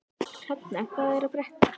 Hrafnar, hvað er að frétta?